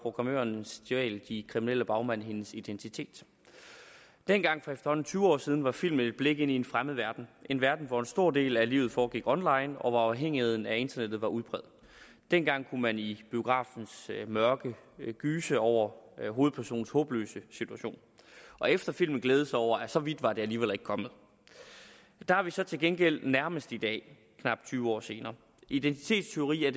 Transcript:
programmøren stjæler de kriminelle bagmænd hendes identitet dengang for efterhånden tyve år siden var filmen et blik ind i en fremmed verden en verden hvor en stor del af livet foregik online og hvor afhængigheden af internettet var udpræget dengang kunne man i biografens mørke gyse over hovedpersonens håbløse situation og efter filmen glæde sig over at så vidt var det alligevel ikke kommet der er vi så til gengæld nærmest i dag knap tyve år senere identitetstyveri er